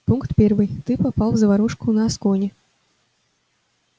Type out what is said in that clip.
пункт первый ты попал в заварушку на аскони